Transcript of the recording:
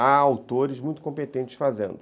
Há autores muito competentes fazendo.